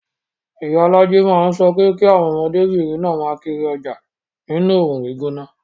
Iyalaje máa ń sọ pé kí àwọn ọmọdébìnrin náà máa kiri ọjà nínú oòrùn gbígbóná